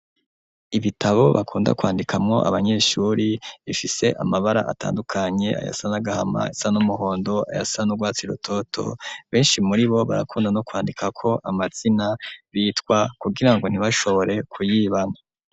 Ibitabo bakunda kwandikamwo abanyeshuri bifise amabara atandukanye ayasa n'agahama ayasa n'umuhondo ayasa n'urwatsi rutoto beshi muribo barakunda no kwandikako amazina bitwa kugirango ntibashobore ku yibana.